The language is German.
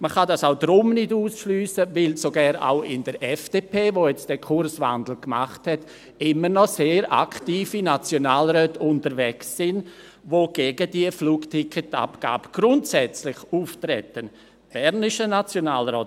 Man kann dies auch deshalb nicht ausschliessen, weil sogar in der FDP, die jetzt den Kurswandel gemacht hat, immer noch sehr aktive Nationalräte unterwegs sind, die grundsätzlich gegen die Flugticketabgabe auftreten, zum Beispiel ein bernischer Nationalrat.